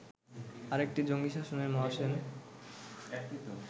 আরেকটি জঙ্গি শাসনের 'মহাসেন'